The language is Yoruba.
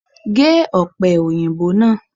Gé òpè òyìnbó náà